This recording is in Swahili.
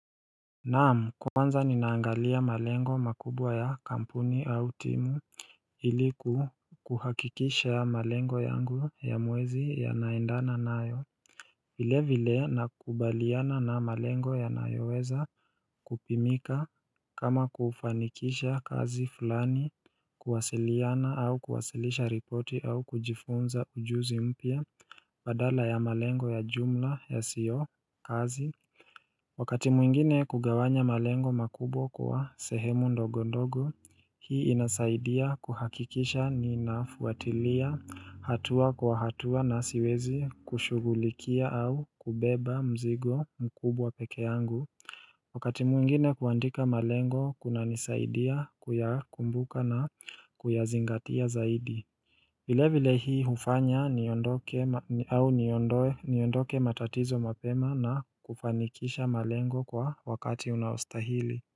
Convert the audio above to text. Naam kwanza ninaangalia malengo makubwa ya kampuni au timu Hili kuhakikisha malengo yangu ya mwezi yanaendana nayo vile vile nakubaliana na malengo yanayoweza kupimika kama kufanikisha kazi fulani kuwasiliana au kuwasilisha ripoti au kujifunza ujuzi mpya badala ya malengo ya jumla ya siyo kazi Wakati mwingine kugawanya malengo makubwa kwa sehemu ndogondogo, hii inasaidia kuhakikisha ni nafuatilia hatua kwa hatua na siwezi kushugulikia au kubeba mzigo mkubwa pekeangu. Wakati mwingine kuandika malengo kuna nisaidia kuyakumbuka na kuyazingatia zaidi. Vile vile hii hufanya au niondoe matatizo mapema na kufanikisha malengo kwa wakati unaostahili.